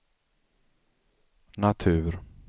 natur